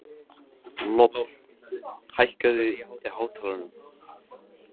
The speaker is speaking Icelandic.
Lofn, hækkaðu í hátalaranum.